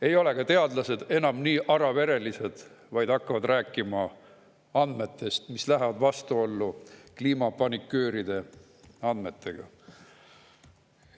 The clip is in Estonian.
Ei ole ka teadlased enam nii araverelised, vaid hakkavad rääkima andmetest, mis lähevad vastuollu kliimapanikööride andmetega.